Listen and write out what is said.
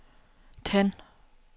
tænd